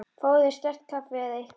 Fáðu þér sterkt kaffi eða eitthvað.